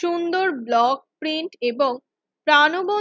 সুন্দর block print এবং প্রানবন্ত